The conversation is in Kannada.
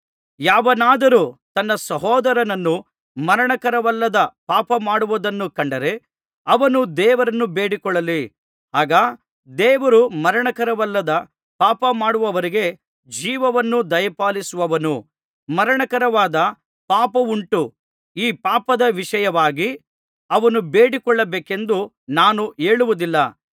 ಯಾವನಾದರೂ ತನ್ನ ಸಹೋದರನು ಮರಣಕರವಲ್ಲದ ಪಾಪಮಾಡುವುದನ್ನು ಕಂಡರೆ ಅವನು ದೇವರನ್ನು ಬೇಡಿಕೊಳ್ಳಲಿ ಆಗ ದೇವರು ಮರಣಕರವಲ್ಲದ ಪಾಪಮಾಡುವವರಿಗೆ ಜೀವವನ್ನು ದಯಪಾಲಿಸುವನು ಮರಣಕರವಾದ ಪಾಪವುಂಟು ಈ ಪಾಪದ ವಿಷಯವಾಗಿ ಅವನು ಬೇಡಿಕೊಳ್ಳಬೇಕೆಂದು ನಾನು ಹೇಳುವುದಿಲ್ಲ